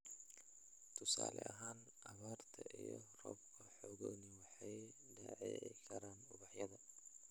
Tusaale ahaan, abaarta iyo roobabka xooggani waxay dhaawici karaan ubaxyada